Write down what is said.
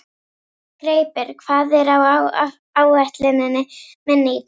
Greipur, hvað er á áætluninni minni í dag?